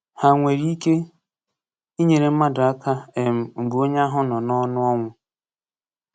Ha nwere ike inyere mmadụ aka um mgbe onye ahụ nọ n’ọnụ ọnwụ?